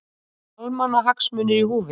Almannahagsmunir í húfi